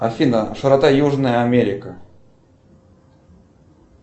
афина широта южная америка